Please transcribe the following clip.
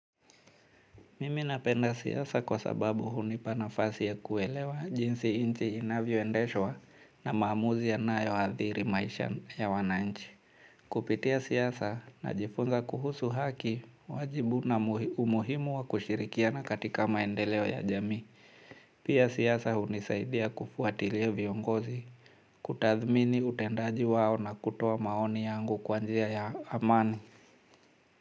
Mimi napenda siasa kwa sababu hunipa nafasi ya kuelewa jinsi nchi inavyo endeshwa na maamuzi yanayoathiri maisha ya wananchi. Kupitia siasa najifunza kuhusu haki, wajibu na umuhimu wa kushirikiana katika maendeleo ya jamii. Pia siasa hunisaidia kufuatilia viongozi, kutathmini utendaji wao na kutoa maoni yangu kwa njia ya amani.